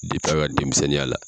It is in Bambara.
a ka denmisɛnninya la!